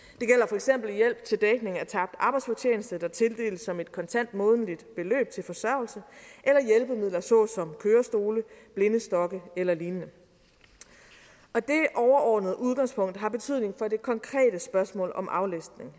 eksempel hjælp til dækning af tabt arbejdsfortjeneste der tildeles som et kontant månedligt beløb til forsørgelse eller hjælpemidler såsom kørestole blindestokke eller lignende dét overordnede udgangspunkt har betydning for det konkrete spørgsmål om aflastning